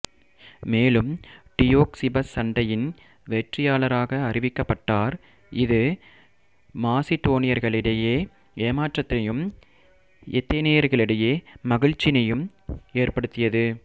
மேலும் டியோக்சிபஸ் சண்டையின் வெற்றியாளராக அறிவிக்கப்பட்டார் இது மாசிடோனியர்களிடையே ஏமாற்றத்தையும் ஏதெனியர்களிடையே மகிழ்ச்சியையும் ஏற்படுத்தியது